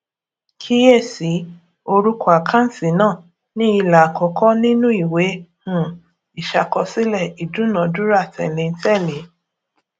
kíyèsí orúkọ àkáǹtì náà ní ilà àkọkọ nínú ìwé um ìṣàkọsílẹ ìdúnadúrà tẹléǹtẹlẹ